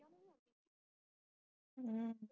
ਹੂ